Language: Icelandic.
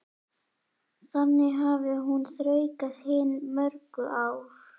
Þannig hafi hún þraukað hin mögru ár.